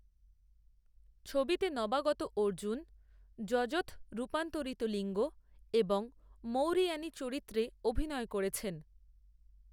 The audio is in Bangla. ছবিতে নবাগত অর্জুন যজথ রূপান্তরিত লিঙ্গ এবং মৌরিয়ানি চরিত্রে অভিনয় করেছেন।